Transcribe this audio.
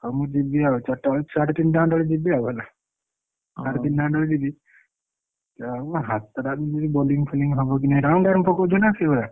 ହଉ ମୁ ଜୀବି ଆଉ ଚାରିଟାବେଳେ ସାଢେ ତିନଟା ଖଣ୍ଡେ ବେଳେ ଜୀବି ଆଉ ହେଲା ସାଢେ ତିନଟା ଖଣ୍ଡେ ବେଳକୁ ଜୀବି ମୋ ହାତ ଟା ବି bowling foling ହବ କି ନାହିଁ round ଆଡକୁ ପକଉଛ ନା ସେଇଭଳିଆ?